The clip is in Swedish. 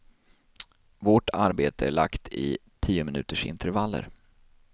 Vårt arbete är lagt i tiominutersintervaller.